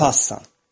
Gedo pası.